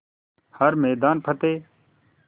हर मैदान फ़तेह